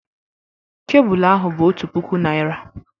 Kebụlụ ahụ bụ otu puku naira